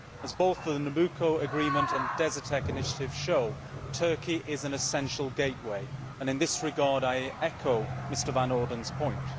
As both the Nabucco Agreement and the Desertec initiative show, Turkey is an essential gateway, and in this regard I echo Mr Van Orden's point.